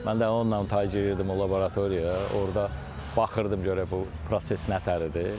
Mən də onunla ta girirdim o laboratoriya, orda baxırdım görək bu proses nətər idi.